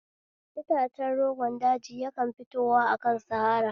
Itace rogon daji yakan fito akan sahara